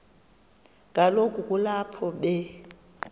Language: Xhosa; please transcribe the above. kaloku kulapho be